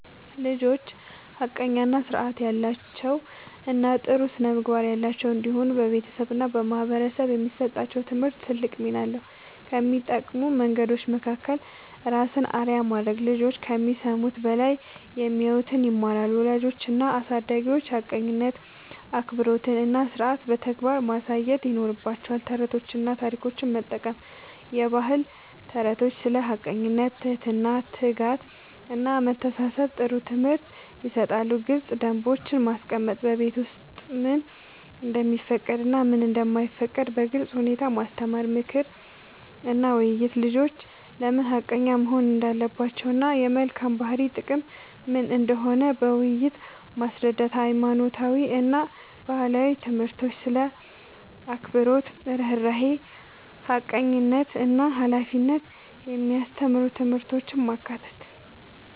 ልጆች ሐቀኛ፣ ሥርዓት ያላቸው እና ጥሩ ስነ-ምግባር ያላቸው እንዲሆኑ በቤተሰብ እና በማህበረሰብ የሚሰጣቸው ትምህርት ትልቅ ሚና አለው። ከሚጠቅሙ መንገዶች መካከል፦ ራስን አርአያ ማድረግ፦ ልጆች ከሚሰሙት በላይ የሚያዩትን ይማራሉ። ወላጆች እና አሳዳጊዎች ሐቀኝነትን፣ አክብሮትን እና ሥርዓትን በተግባር ማሳየት ይኖርባቸዋል። ተረቶችን እና ታሪኮችን መጠቀም፦ የባህል ተረቶች ስለ ሐቀኝነት፣ ትህትና፣ ትጋት እና መተሳሰብ ጥሩ ትምህርት ይሰጣሉ። ግልጽ ደንቦች ማስቀመጥ፦ በቤት ውስጥ ምን እንደሚፈቀድ እና ምን እንደማይፈቀድ በግልጽ ሁኔታ ማስተማር። ምክር እና ውይይት፦ ልጆች ለምን ሐቀኛ መሆን እንዳለባቸው እና የመልካም ባህሪ ጥቅም ምን እንደሆነ በውይይት ማስረዳት። ሃይማኖታዊ እና ባህላዊ ትምህርቶች ስለ አክብሮት፣ ርህራሄ፣ ሐቀኝነት እና ሃላፊነት የሚያስተምሩ ትምህርቶችን ማካተት።